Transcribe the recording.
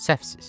Səhvsiz.